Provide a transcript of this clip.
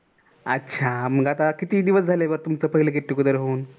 अच्छा मग आता किती दिवस झाले तुमच get together होऊन